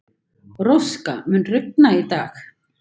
Róska, mun rigna í dag?